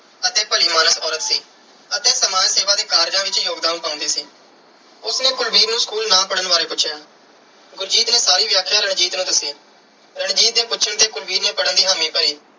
ਅਤੇ ਭਲੀ ਮਾਨਸ ਔਰਤ ਸੀ ਅਤੇ ਸਮਾਜ ਸੇਵਾ ਦੇ ਕਾਰਜਾਂ ਵਿੱਚ ਯੋਗਦਾਨ ਪਾਉਂਦੀ ਸੀ। ਉਸ ਨੇ ਕੁਲਵੀਰ ਨੂੰ school ਨਾ ਪੜ੍ਹਨ ਬਾਰੇ ਪੁੱਛਿਆ। ਗੁਰਜੀਤ ਨੇ ਸਾਰੀ ਵਿਆਖਿਆ ਰਣਜੀਤ ਨੂੰ ਦੱਸੀ। ਰਣਜੀਤ ਦੇ ਪੁੱਛਣ ਤੇ ਕੁਲਵੀਰ ਨੇ ਪੜ੍ਹਨ ਦੀ ਹਾਮੀ ਭਰੀ।